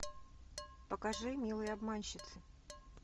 покажи милые обманщицы